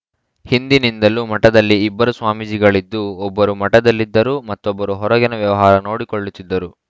ಹಿಂದಿನಿಂದಲೂ ಮಠದಲ್ಲಿ ಇಬ್ಬರು ಸ್ವಾಮೀಜಿಗಳಿದ್ದು ಒಬ್ಬರು ಮಠದಲ್ಲಿದ್ದರು ಮತ್ತೊಬ್ಬರು ಹೊರಗಿನ ವ್ಯವಹಾರ ನೋಡಿಕೊಳ್ಳುತ್ತಿದ್ದರು